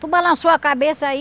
Tu balançou a cabeça aí?